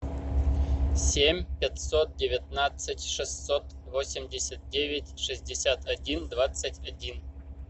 семь пятьсот девятнадцать шестьсот восемьдесят девять шестьдесят один двадцать один